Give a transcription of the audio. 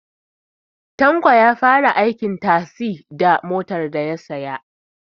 Tanko ya fara aikin tazi da motar daya saya